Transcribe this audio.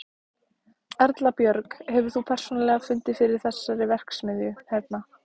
Erla Björg: Hefur þú persónulega fundið fyrir þessari verksmiðju hérna?